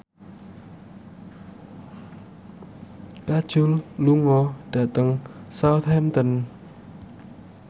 Kajol lunga dhateng Southampton